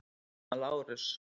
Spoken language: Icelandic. Hann var Lárus